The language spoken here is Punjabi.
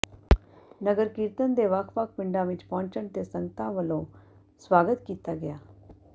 ਨਗਰ ਕੀਰਤਨ ਦੇ ਵੱਖ ਵੱਖ ਪਿੰਡਾਂ ਵਿੱਚ ਪਹੁੰਚਣ ਤੇ ਸੰਗਤ ਵੱਲੋਂ ਸਵਾਗਤ ਕੀਤਾ ਗਿਆ